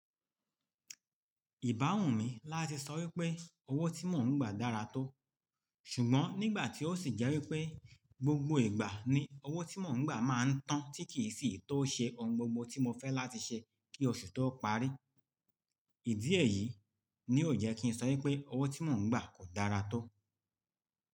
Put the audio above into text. Ìbáhun mi láti sọ wípé owó tí mò ń gbà dára tó. Ṣùgbọ́n nígbà tí ó sì jẹ́ wípé gbogbo ìgbà ni owó tí mò ń gbà máa ń tán tí kì í sì tó ṣe ohun gbogbo tí mo fẹ́ láti ṣe kí oṣù tó parí. Ìdí èyí ni yóò jẹ́ kí n sọ wípé owó tí mò ń gbà kò dára tó.